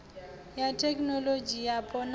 ya thekinolodzhi yapo na ya